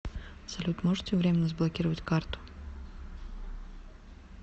салют можете времмено заблокировать карту